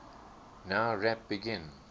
nowrap begin